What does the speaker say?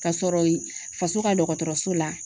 Ka sɔrɔ ye faso ka dɔgɔtɔrɔso la.